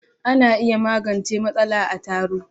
Ana iya magance matsala a taro.